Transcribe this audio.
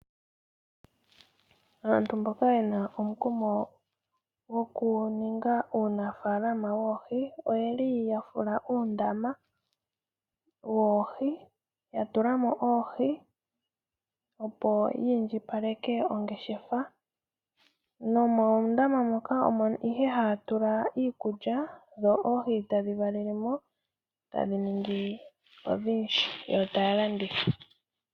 Aanafalama ohaya fulu oondama moka haya tula oohi. Oha ye dhi pelemo woo iikulya opo dhi vule dhi ninge odhindji nawa ya vule oku dhi landithapo ya mone oshimaliwa.